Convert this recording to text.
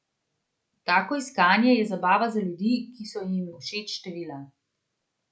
Tako iskanje je zabava za ljudi, ki so jim všeč števila.